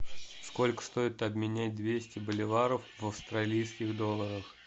сколько стоит обменять двести боливаров в австралийских долларах